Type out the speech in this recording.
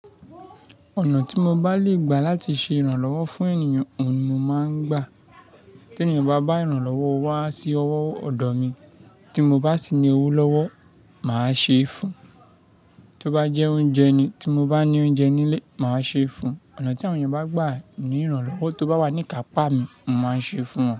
Ọ̀nà tí mo bá lè gbà láti ṣe ìrànlọ́wọ́ fún ènìyàn ohun ni mo máa ń gbà. Tí ènìyàn bá bá ìrànlọ́wọ́ wá sí ọwọ́ ọ̀dọ̀ mi tí mo bá sì ní owó lọ́wọ́, màá ṣe é fún un. Tí ó bá jẹ́ oúnjẹ ni tí mo bá ní oúnjẹ nílé, màá ṣe é fún un. Ọ̀nà tí àwọn èèyàn bá gbà ní ìrànlọ́wọ́ tó bá wà ní ikàpá mi, mo máa ṣe é fún wọn.